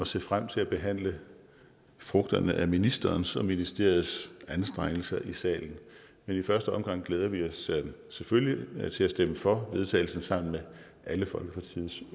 ser frem til at behandle frugterne af ministerens og ministeriets anstrengelser i salen men i første omgang glæder vi os selvfølgelig til at stemme for forslaget vedtagelse sammen med alle folketingets